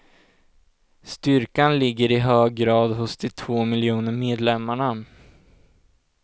Styrkan ligger i hög grad hos de två miljoner medlemmarna.